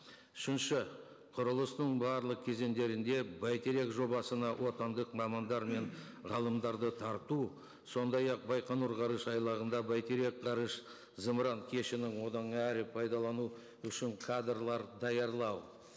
үшінші құрылыстың барлық кезеңдерінде бәйтерек жобасына отандық мамандар мен ғалымдарды тарту сондай ақ байқоңыр ғарышайлағында бәйтерек ғарыш зымыран кешенін одан әрі пайдалану үшін кадрлар даярлау